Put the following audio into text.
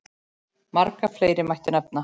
Marga fleiri mætti nefna.